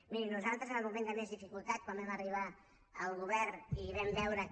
miri nosaltres en el moment de més dificultat quan vam arribar al govern i vam veure que